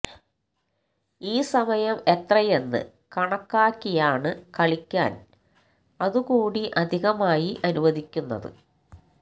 ഈ സമയം എത്രയെന്ന് കണക്കാക്കിയാണ് കളിക്കാൻ അതുകൂടി അധികമായി അനുവദിക്കുന്നത്